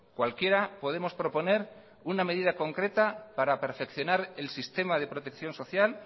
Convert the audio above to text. cualquiera podemos proponer una medida concreta para perfeccionar el sistema de protección social